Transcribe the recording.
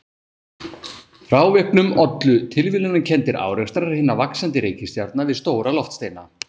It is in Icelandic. Frávikunum ollu tilviljanakenndir árekstrar hinna vaxandi reikistjarna við stóra loftsteina.